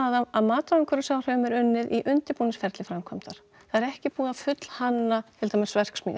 að mat á umhverfisáhrifum er unnið í undirbúningsferli framkvæmdar það er ekki búið að fullhanna til dæmis verksmiðju